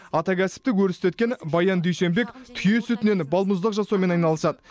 ата кәсіпті өрістеткен баян дүйсенбек түйе сүтінен балмұздақ жасаумен айналысады